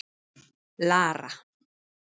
Lara